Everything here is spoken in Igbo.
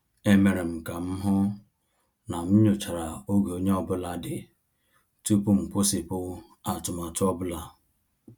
E mere m ka m hụ na m nyochara oge onye ọ bụla dị tupu m kwụsịpụ atụmatụ ọ bụla.